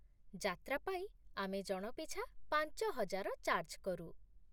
ଯାତ୍ରା ପାଇଁ ଆମେ ଜଣ ପିଛା ପାଞ୍ଚହଜାର ଚାର୍ଜ୍ କରୁ।